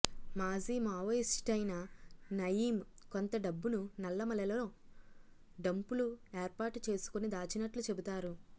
మాజీ మావోయిస్టయిన నయీం కొంత డబ్బును నల్లమలలో డంపులుఏర్పాటుచేసుకుని దాచినట్లూ చెబుతారు